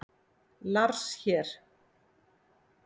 Lars hér!